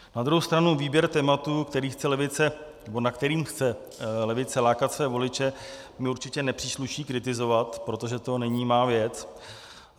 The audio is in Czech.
Na druhou stranu výběr tématu, na které chce levice lákat své voliče, mi určitě nepřísluší kritizovat, protože to není má věc.